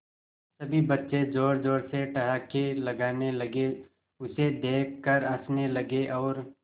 सभी बच्चे जोर जोर से ठहाके लगाने लगे उसे देख कर हंसने लगे और